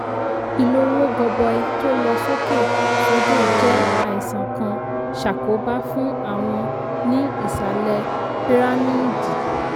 ìlówó gọbọi tó lọ sókè sódò jẹ́ àìsàn kan ṣàkóbá fún àwọn ní ìsàlẹ̀ pírámíìdì